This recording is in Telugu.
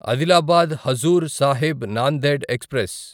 ఆదిలాబాద్ హజూర్ సాహిబ్ నాందెడ్ ఎక్స్ప్రెస్